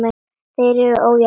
Hér var ójafn leikur.